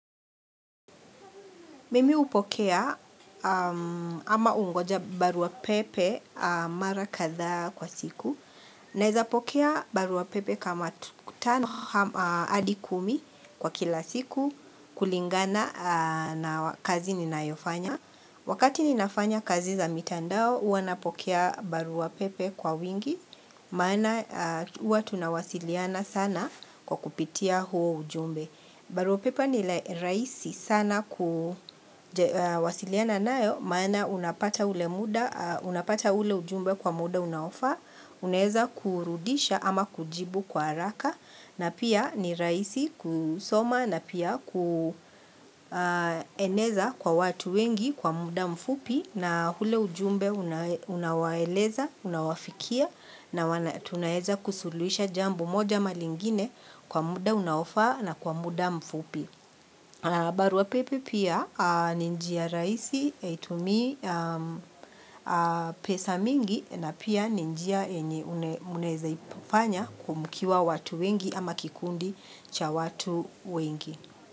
Mimi hupokea ama hungoja barua pepe mara kadhaa kwa siku. Ninaweza pokea barua pepe kama tu tano hadi kumi kwa kila siku kulingana na kazi ninayofanya. Wakati ninafanya kazi za mitandao huwa ninapokea barua pepe kwa wingi maana huwa tunawasiliana sana kwa kupitia huo ujumbe. Barua pepe ni rahisi sana kuwasiliana nayo maana unapata ule ujumbe kwa muda unaofaa, unaweza kurudisha ama kujibu kwa haraka na pia ni rahisi kusoma na pia kueneza kwa watu wengi kwa muda mfupi na ule ujumbe unawaeleza, unawafikia na tunaweza kusuluhisha jambo moja ama lingine kwa muda unaofaa na kwa muda mfupi. Barua pepe pia ni njia rahisi haitumii pesa mingi na pia ni njia yenye munaweza ifanya huku mkiwa watu wengi ama kikundi cha watu wengi.